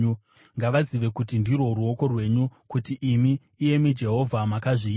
Ngavazive kuti ndirwo ruoko rwenyu, kuti imi, iyemi Jehovha, makazviita.